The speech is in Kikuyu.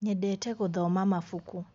nyendete guthoma mabuku